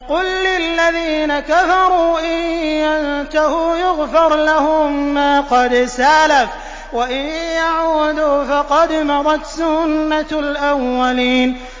قُل لِّلَّذِينَ كَفَرُوا إِن يَنتَهُوا يُغْفَرْ لَهُم مَّا قَدْ سَلَفَ وَإِن يَعُودُوا فَقَدْ مَضَتْ سُنَّتُ الْأَوَّلِينَ